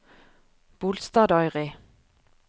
Bolstadøyri